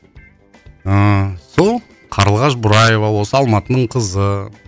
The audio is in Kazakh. ыыы сол қарлығаш бораева осы алматының қызы